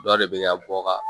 Dɔ de bɛ ka bɔ ka